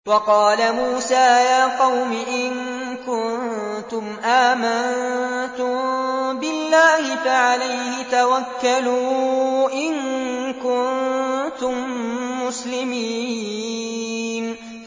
وَقَالَ مُوسَىٰ يَا قَوْمِ إِن كُنتُمْ آمَنتُم بِاللَّهِ فَعَلَيْهِ تَوَكَّلُوا إِن كُنتُم مُّسْلِمِينَ